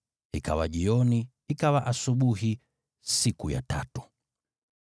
Ikawa jioni, ikawa asubuhi, siku ya tatu.